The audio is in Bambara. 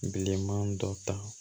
Bilenman dɔ ta